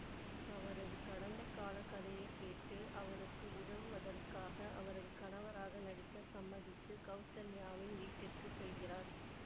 அவரது கடந்தகால கதையை கேட்டு அவருக்கு உதவுவதற்காக அவரது கணவராக நடிக்க சம்மதித்து கௌசல்யாவின் வீட்டிற்கு செல்கிறார்